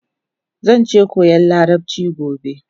Zanje koyan larabchi gobe